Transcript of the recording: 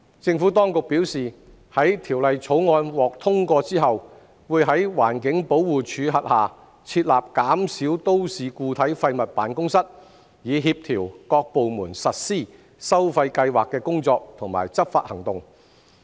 政府當局表示，在《條例草案》獲通過後，會在環境保護署轄下設立減少都市固體廢物辦公室，以協調各部門實施收費計劃的工作及執法行動。